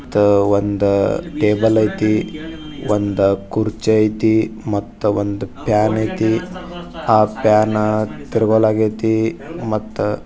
ಮತ್ ಒಂದು ಟೇಬಲ್ ಅಯ್ತಿ ಒಂದು ಕುರ್ಚಿ ಅಯ್ತಿ ಒಂದು ಫ್ಯಾನ್ ಅಯ್ತಿ ಆ ಫ್ಯಾನ್ ತೀರಗತಿಲ್ಲಾ.